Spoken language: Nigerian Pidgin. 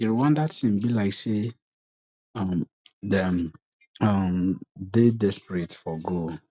di rwanda team be like say um dem um dey desperate for goal